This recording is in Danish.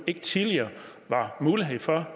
ikke tidligere var mulighed for